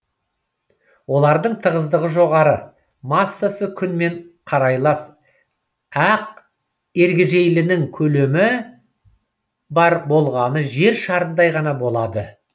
олардың тығыздығы жоғары массасы күнмен қарайлас ақ ергежейлінің көлемі бар болғаны жер шарындай ғана болады